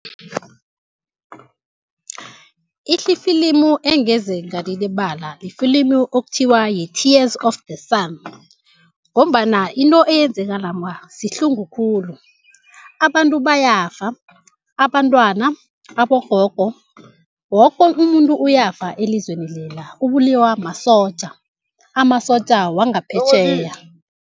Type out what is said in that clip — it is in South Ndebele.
Ifilimu engeze ngalilibala yifilimu okuthiwa yi-tears of the sun, ngombana into eyenzeka lapha sihlungukhulu, abantu bayafa abantwana, abogogo woke umuntu uyafa elizweni lela ubulawa masotja, amasotja wangaphetjheya.